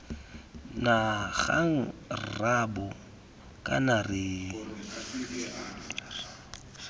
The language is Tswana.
na kgang rraabo kana re